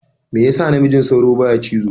Me yas namijin sauro baya cizo?